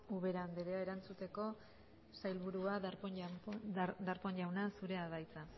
ubera andrea erantzuteko sailburua darpón jauna zurea da hitza